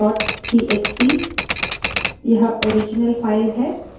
cat marks dot txt